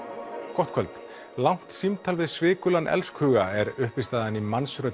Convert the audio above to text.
gott kvöld langt símtal við elskhuga er uppistaðan í